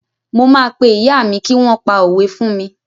Mo máa pé ìyá mi kí wọ́n pa òwe fún mi.